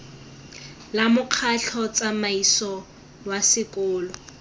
la mokgatlho tsamaiso wa sekolo